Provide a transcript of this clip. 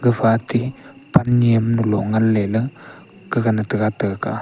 gafa ate pan nyemgalo nganleyla gagan taga ta kah a.